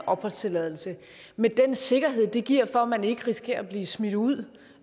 opholdstilladelse med den sikkerhed som det giver for at man ikke risikerer at blive smidt ud